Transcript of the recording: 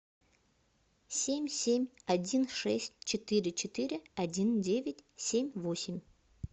семь семь один шесть четыре четыре один девять семь восемь